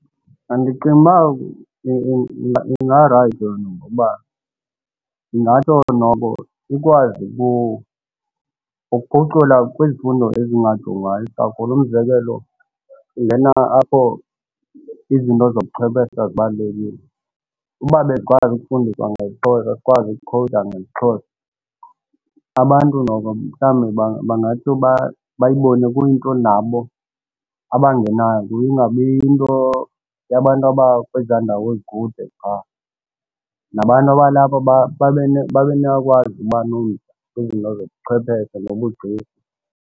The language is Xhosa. Ndicinga uba ingarayithi loo nto ngoba ingatsho noko ikwazi ukuphucula kwizifundo ezingajongwayo kakhulu. Umzekelo, ingena apho izinto zobuchwephesha zibalulekile. Uba besikwazi ukufundiswa ngesiXhosa sikwazi ukukhowuda ngesiXhosa abantu noko mhlawumbi bangatsho bayibone kuyinto nabo abangenanto, ingabi yinto yabantu abakwezaa ndawo zikude qha. Nabantu abalapha babe babe nokwazi ukuba nomdla kwizinto zobuchwepheshe nobugcisa.